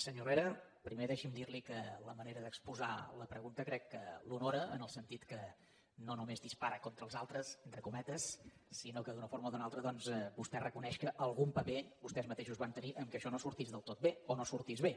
senyor herrera primer deixi’m dirli que la manera d’exposar la pregunta crec que l’honora en el sentit que no només dispara contra els altres entre cometes sinó que d’una forma o d’una altra doncs vostè reconeix que algun paper vostès mateixos van tenir en el fet que això no sortís del tot bé o no sortís bé